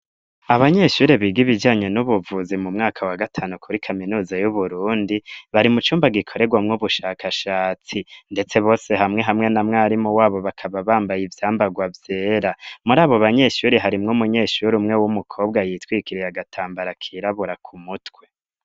Abanyeshure biga ibijanye n'ubuvuzi mu mwaka wa gatanu kuri kaminuza y'Uburundi, bari mu cumba gikoregwamwo ubushakashatsi. Ndetse bose hamwe hamwe na mwarimu wabo bakaba bambaye ivyambagwa vyera ,muri abo banyeshure harimwo umunyeshure umwe w'umukobwa yitwikiriye agatambara kirabura ku mutwe.